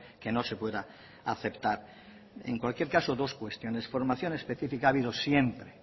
que no se pueda aceptar en cualquier caso dos cuestiones formación específica ha habido siempre